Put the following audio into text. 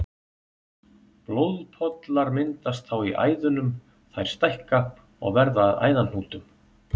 Blóðpollar myndast þá í æðunum, þær stækka og verða að æðahnútum.